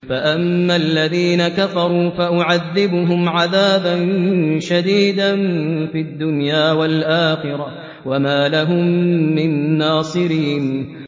فَأَمَّا الَّذِينَ كَفَرُوا فَأُعَذِّبُهُمْ عَذَابًا شَدِيدًا فِي الدُّنْيَا وَالْآخِرَةِ وَمَا لَهُم مِّن نَّاصِرِينَ